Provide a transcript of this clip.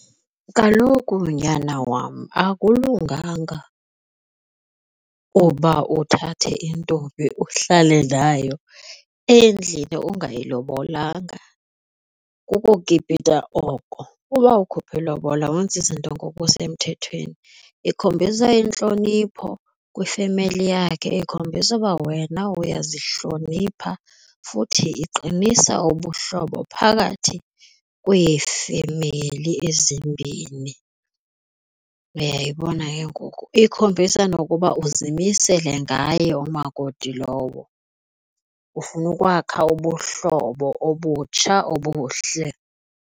Kaloku, nyana wam, akulunganga uba uthathe intombi uhlale nayo endlini ungayilobolanga, kukukipita oko. Uba ukhuphe le bhola wenza izinto ngokusemthethweni ikhombisa intlonipho kwifemeli yakhe, ikhombisa uba wena uyazihlonipha futhi uqinisa ubuhlobo phakathi kweefemeli ezimbini. Uyayibona ke ngoku? Ikhombisa nokuba uzimisele ngaye umakoti lowo ufuna ukwakha ubuhlobo obutsha obuhle.